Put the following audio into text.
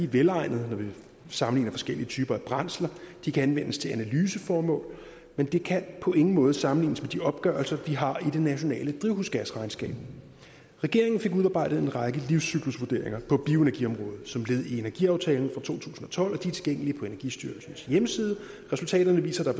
velegnede når vi sammenligner forskellige typer af brændsler de kan anvendes til analyseformål men de kan på ingen måde sammenlignes med de opgørelser vi har i det nationale drivhusgasregnskab regeringen fik udarbejdet en række livscyklusvurderinger på bioenergiområdet som led i energiaftalen fra to tusind og tolv og tilgængelige på energistyrelsens hjemmeside resultaterne viser at